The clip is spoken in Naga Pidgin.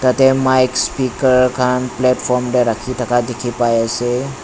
yate mics speaker khan platform teh rakhi thaka dikhi pai ase.